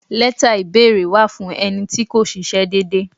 Leta ìbéèrè wà fún ẹni tí kò ṣíṣe dédé.